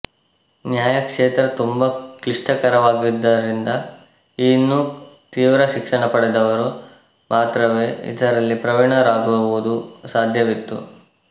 ನ್ಯಾಯಕ್ಷೇತ್ರ ತುಂಬ ಕ್ಲಿಷ್ಟಕರವಾಗಿದ್ದರಿಂದ ಈ ಇನ್ನುಗಳಲ್ಲಿ ತೀವ್ರ ಶಿಕ್ಷಣ ಪಡೆದವರು ಮಾತ್ರವೇ ಇದರಲ್ಲಿ ಪ್ರವೀಣರಾಗುವುದು ಸಾಧ್ಯವಿತ್ತು